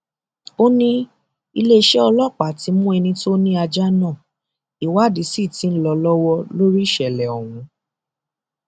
ó ní iléeṣẹ ọlọpàá ti mú ẹni tó ni ajá náà ìwádìí sí ti ń lọ lọwọ lórí ìṣẹlẹ ọhún